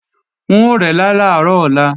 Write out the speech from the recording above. N ó rẹ́lá làárọ̀ ọ̀la